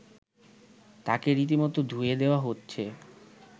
তাকে রীতিমতো ‘ধুয়ে’ দেয়া হচ্ছে